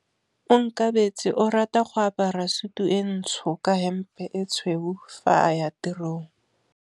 Onkabetse o rata go apara sutu e ntsho ka hempe e tshweu fa a ya tirong.